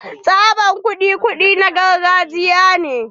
Tsabar kuɗi kuɗi na gargajiya ne.